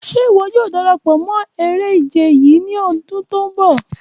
Ṣe iwọ yoo darapọ mọ ere-ije yii ni ọdun ti n bọ?